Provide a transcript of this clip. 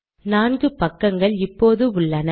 4 பக்கங்கள் இப்போது உள்ளன